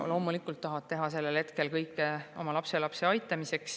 Loomulikult tahetakse sellel hetkel teha kõike oma lapselapse aitamiseks.